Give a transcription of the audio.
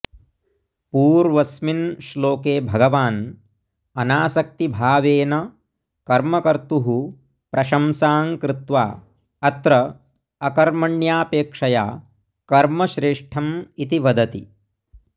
पूर्वस्मिन् श्लोके भगवान् अनासक्तिभावेन कर्म कर्तुः प्रशंसां कृत्वा अत्र अकर्मण्यापेक्षया कर्म श्रेष्ठम् इति वदति